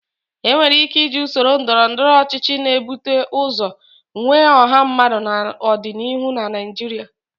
Enwere ike iji usoro ndọrọndọrọ ọchịchị na-ebute ụzọ nwe ọha mmadụ n'ọdịnihu na Naijiria.